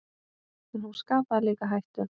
En hún skapaði líka hættur.